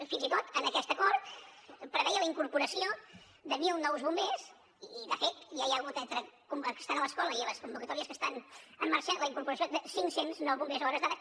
fins i tot en aquest acord preveia la incorporació de mil nous bombers i de fet ja hi ha hagut entre aquesta nova escola i les convocatòries que estan en marxa la incorporació cinc cents i nou bombers a hores d’ara